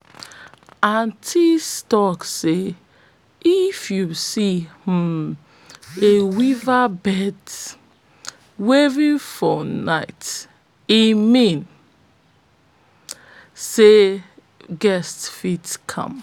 for de story de greedy goat don eat all dey yams and e come dey stuck for de hole